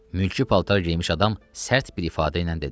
Mülki paltar geyinmiş adam sərt bir ifadə ilə dedi.